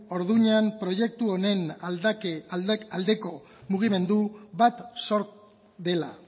orduñan proiektu honen aldeko mugimendu bat sortu dela